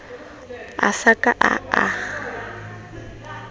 a sa ka a a